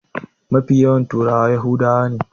Mafi yawancin turawa yahudawa ne.